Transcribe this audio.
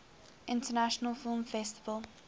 international film festival